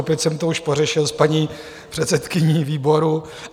Opět jsem to už pořešil s paní předsedkyní výboru.